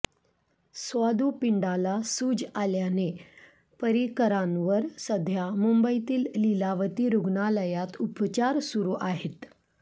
स्वादुपिंडाला सूज आल्याने पर्रिकरांवर सध्या मुंबईतील लीलावती रुग्णालयात उपचार सुरू आहेत